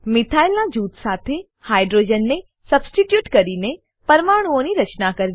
methyl નાં જૂથ સાથે હાઇડ્રોજન ને સબસ્ટીટ્યુટ કરીને પરમાણુઓની રચના કરવી